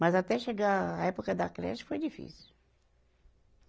Mas até chegar à época da creche, foi difícil.